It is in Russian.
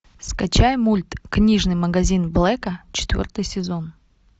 скачай мульт книжный магазин блэка четвертый сезон